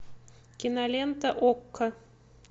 кинолента окко